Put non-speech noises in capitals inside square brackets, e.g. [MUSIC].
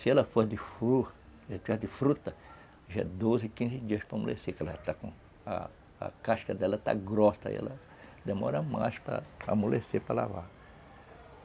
Se ela for de [UNINTELLIGIBLE] de fruta, já é doze, quinze dias para amolecer, que ela está com... a casca dela está grossa, aí ela demora mais para amolecer, para lavar.